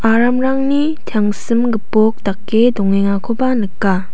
aramrangni tangsim gipok dake dongenganikoba nika.